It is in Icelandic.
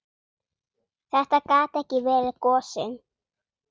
Þetta gat ekki verið gosinn.